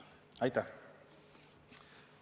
Aitäh!